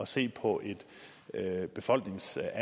se på et befolkningstal